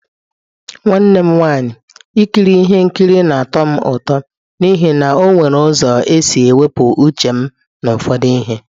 Nwanne m nwanyị, Ikiri ihe nkiri na-atọ m ụtọ n'ihi na ọ nwere ụzọ isi wepụ uche m na ụfọdụ ihe.